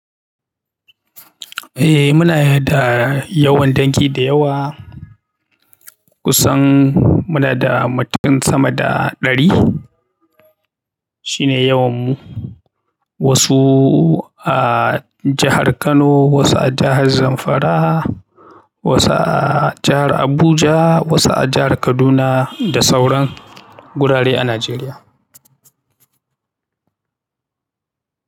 Eh muna da yawan dangi da yawa, kusan muna da matukin sama da ɗari shine yawan mu. Wasu a jahar Kano, wasu a jahar Zamfara, wasu a jahar Abuja, wasu a jahar Kaduna da sauran gurare a Najeriya.